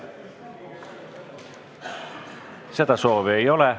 Seda soovi ei ole.